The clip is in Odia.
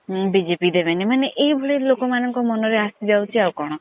BJP ଦେବେନୀ ଏଇ ଭଳିଆ ଲୋକ ମାନଙ୍କ ମନ ରେ ଆସିଯାଉଛି ଆଉ କଣ।